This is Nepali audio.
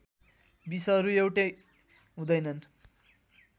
विषहरू एउटै हुँदैनन्